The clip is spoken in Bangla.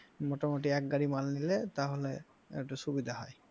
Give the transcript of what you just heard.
মোটামুটি এক গাড়ি মাল নিলে তাহলে একটু সুবিধা হয়।